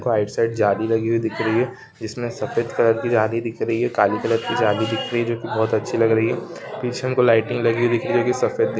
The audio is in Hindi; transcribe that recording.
राइट साइड जाली लगी हुई दिख रही है जिसमें सफेद कलर की जाली दिख रही है काली कलर की जाली दिख रही है जो की बहोत अच्छी लग रही है पीछे लाइटिंग दिख रही है। जो की सफ़ेद कलर --